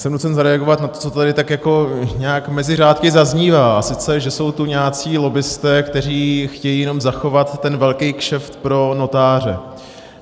Jsem nucen zareagovat na to, co tady tak jako nějak mezi řádky zaznívá, a sice že jsou tu nějací lobbisté, kteří chtějí jenom zachovat ten velký kšeft pro notáře.